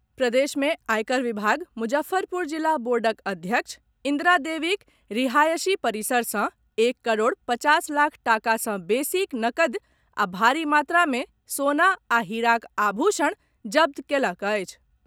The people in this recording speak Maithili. प्रदेश मे आयकर विभाग मुजफ्फरपुर जिला बोर्डक अध्यक्ष इन्द्रा देवीक रिहायशी परिसर सॅ एक करोड़ पचास लाख टाका सॅ बेसीक नकदी आ भारी मात्रा मे सोना आ हीराक आभूषण जब्त कएलक अछि।